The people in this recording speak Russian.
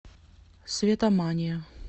светомания